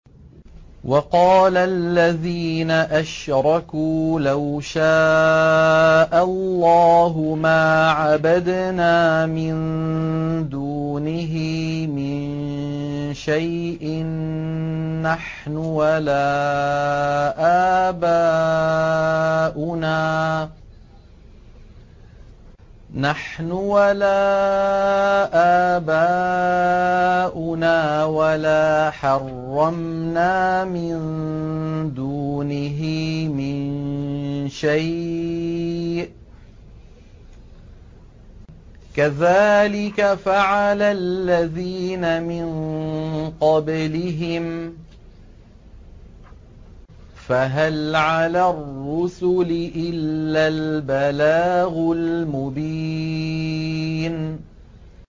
وَقَالَ الَّذِينَ أَشْرَكُوا لَوْ شَاءَ اللَّهُ مَا عَبَدْنَا مِن دُونِهِ مِن شَيْءٍ نَّحْنُ وَلَا آبَاؤُنَا وَلَا حَرَّمْنَا مِن دُونِهِ مِن شَيْءٍ ۚ كَذَٰلِكَ فَعَلَ الَّذِينَ مِن قَبْلِهِمْ ۚ فَهَلْ عَلَى الرُّسُلِ إِلَّا الْبَلَاغُ الْمُبِينُ